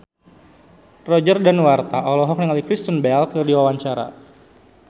Roger Danuarta olohok ningali Kristen Bell keur diwawancara